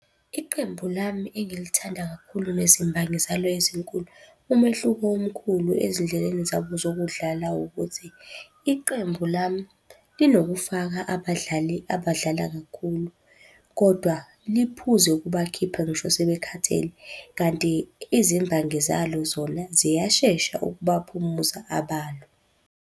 Iqembu lami engilithanda kakhulu nezimbangi zalo ezinkulu, umehluko omkhulu ezindleleni zabo zokudlala ukuthi, iqembu lami linokufaka abadlali abadlala kakhulu, kodwa liphuze ukubakhipha ngisho sebekhathele. Kanti izimbangi zalo zona, ziyashesha ukubaphumuza abalo.